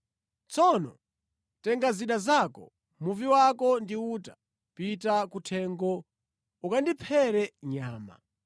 Tsono tenga zida zako, muvi wako ndi uta, pita kuthengo ukandiphere nyama.